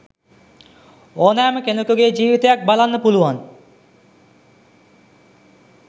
ඕනෑම කෙනෙකුගේ ජීවිතයක් බලන්න පුළුවන්.